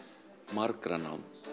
margra nánd